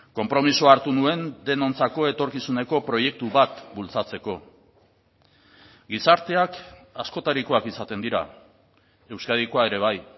konpromisoa hartu nuen denontzako etorkizuneko proiektu bat bultzatzeko gizarteak askotarikoak izaten dira euskadikoa ere bai